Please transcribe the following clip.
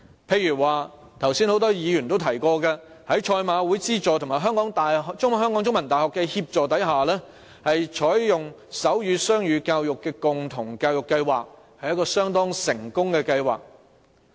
譬如多位議員剛才也提過，在賽馬會資助及香港中文大學協助下，他們採取手語雙語共融教育計劃，這是一項相當成功的計劃。